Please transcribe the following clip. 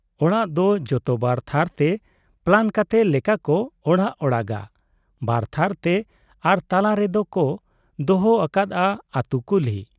ᱚᱲᱟᱜ ᱫᱚ ᱡᱚᱛᱚ ᱵᱟᱨ ᱛᱷᱟᱨ ᱛᱮ ᱯᱞᱟᱱ ᱠᱟᱛᱮ ᱞᱮᱠᱟ ᱠᱚ ᱚᱲᱟᱜ ᱚᱲᱟᱜ ᱟ ᱵᱟᱨ ᱛᱷᱟᱨᱛᱮ ᱟᱨ ᱛᱟᱞᱟᱨᱮᱫᱚ ᱠᱚ ᱫᱚᱦᱚ ᱟᱠᱟᱫ ᱟ ᱟᱹᱛᱩ ᱠᱩᱞᱦᱤ ᱾